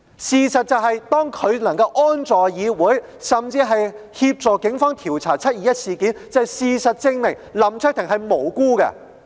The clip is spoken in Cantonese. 事實是，當林卓廷議員能夠安坐議會裏，甚至協助警方調查"七二一"事件，便足以證明他是無辜的。